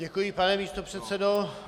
Děkuji, pane místopředsedo.